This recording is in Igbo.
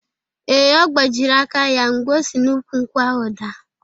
Ee, ọ gbajịrị aka ya mgbe o si n’ukwu nkwụ ahụ daa.